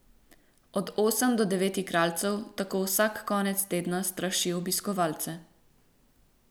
Od osem do devet igralcev tako vsak konec tedna straši obiskovalce.